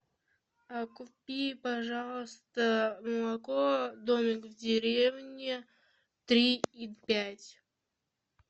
купи пожалуйста молоко домик в деревне три и пять